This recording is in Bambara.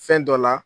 Fɛn dɔ la